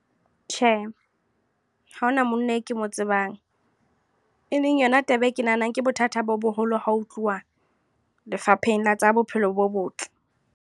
Tjhe, ha hona monna eo ke mo tsebang. E leng yona taba e ke nahanang ke bothata bo boholo ha ho tluwa, Lefapheng la tsa Bophelo bo Botle.